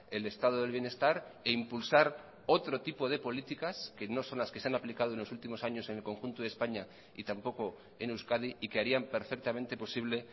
el estado del bienestar e impulsar otro tipo de políticas que no son las que se han aplicado en los últimos años en el conjunto de españa y tampoco en euskadi y que harían perfectamente posible